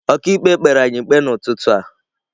Ọkàikpe kpere anyị ikpe n’ụtụtụ a.